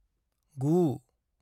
9